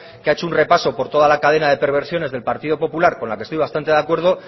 que ha hecho un repaso por la toda la cadena de perversiones del partido popular con la que estoy bastante de acuerdo